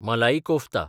मलाई कोफ्ता